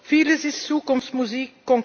Vieles ist Zukunftsmusik